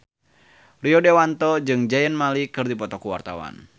Rio Dewanto jeung Zayn Malik keur dipoto ku wartawan